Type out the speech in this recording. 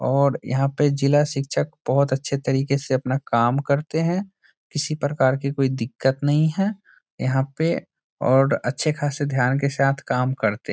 और यहाँ पे जिला शिक्षक बहोत अच्छे तरीके से अपना काम करते हैं किसी प्रकार की कोई दिक्कत नहीं है यहाँ पे और अच्छे खासे ध्यान के साथ काम करते --